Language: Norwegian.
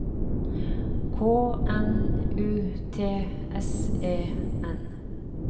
K N U T S E N